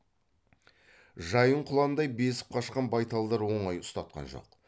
жайын құландай безіп қашқан байталдар оңай ұстатқан жоқ